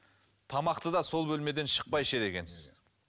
тамақты да сол бөлмеден шықпай ішеді екенсіз